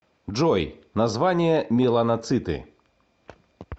джой название меланоциты